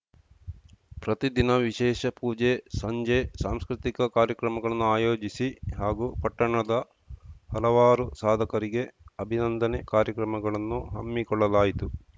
ಪ್ರತಿದಿನ ವಿಶೇಷ ಪೂಜೆ ಸಂಜೆ ಸಾಂಸ್ಕೃತಿಕ ಕಾರ್ಯಕ್ರಮಗಳನ್ನು ಆಯೋಜಿಸಿ ಹಾಗೂ ಪಟ್ಟಣದ ಹಲವಾರು ಸಾಧಕರಿಗೆ ಅಭಿನಂದನೆ ಕಾರ್ಯಕ್ರಮಗಳನ್ನು ಹಮ್ಮಿಕೊಳ್ಳಲಾಯಿತು